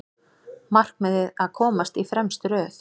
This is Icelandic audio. Markmiðið að komast í fremstu röð